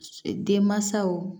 Denmansaw